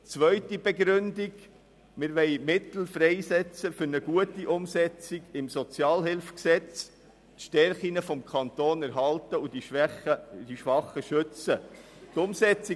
Die zweite Begründung liegt darin, dass wir Mittel für eine gute Umsetzung des SHG freisetzen, um die Stärken des Kantons zu erhalten, und weil wir die Schwachen schützen wollen.